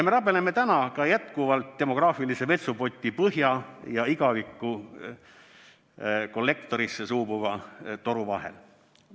Me rabeleme täna ka jätkuvalt demograafilise vetsupoti põhja ja igaviku kollektorisse suubuva toru vahel.